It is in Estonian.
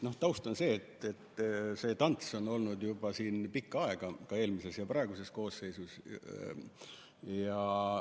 Taust on selline, et see tants on käinud siin juba pikka aega, nii eelmises kui ka praeguses koosseisus.